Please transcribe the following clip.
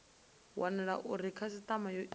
wanala uri khasitama yo ita